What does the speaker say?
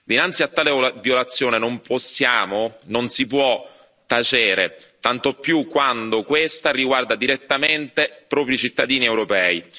Dinanzi a tale violazione non possiamo, non si può tacere, tanto più quando questa riguarda direttamente proprio i cittadini europei.